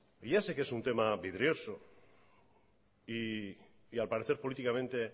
ya sé que es un tema vidrioso y al parecer políticamente